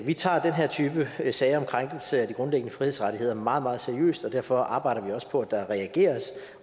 vi tager den her type sager om krænkelse af de grundlæggende frihedsrettigheder meget meget seriøst og derfor arbejder vi også på at der reageres